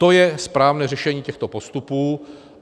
To je správné řešení těchto postupů.